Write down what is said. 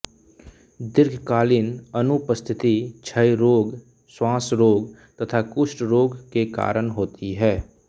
दीर्घकालीन अनुपस्थिति क्षयरोग श्वासरोग तथा कुष्ठ रोग के कारण होती है